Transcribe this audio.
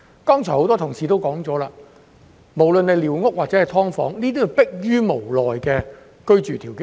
剛才多位同事皆提及，寮屋或"劏房"皆是逼於無奈形成的居住條件。